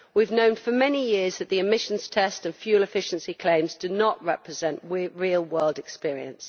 We have known for many years that the emissions test and fuel efficiency claims do not represent real world experience.